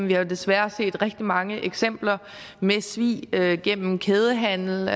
vi har desværre set rigtig mange eksempler med svig gennem kædehandel